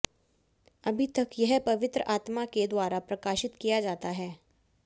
अभी तक यह पवित्र आत्मा के द्वारा प्रकाशित किया जाता है